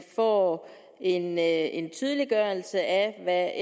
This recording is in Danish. får en en tydeliggørelse af